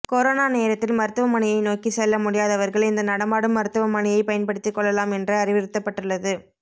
corona நேரத்தில் மருத்துவமனையை நோக்கி செல்ல முடியாதவர்கள் இந்த நடமாடும் மருத்துவ மனையை பயன்படுத்திக் கொள்ளலாம் என்று அறிவுறுத்தப்பட்டுள்ளது